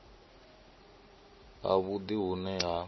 ha vhudi hu ne ha